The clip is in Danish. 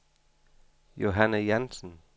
Johanne Jansen